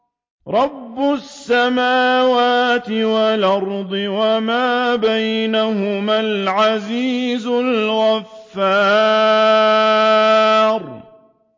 رَبُّ السَّمَاوَاتِ وَالْأَرْضِ وَمَا بَيْنَهُمَا الْعَزِيزُ الْغَفَّارُ